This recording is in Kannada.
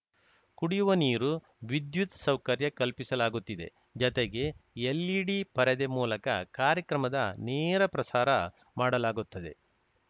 ಕುಡಿಯುವ ನೀರು ವಿದ್ಯುತ್‌ ಸೌಕರ್ಯ ಕಲ್ಪಿಸಲಾಗುತ್ತಿದೆ ಜತೆಗೆ ಎಲ್‌ಇಡಿ ಪರದೆ ಮೂಲಕ ಕಾರ್ಯಕ್ರಮದ ನೇರಪ್ರಸಾರ ಮಾಡಲಾಗುತ್ತದೆ